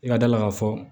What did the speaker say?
I ka da la k'a fɔ